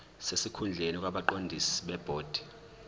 sesikhundleni kwabaqondisi bebhodi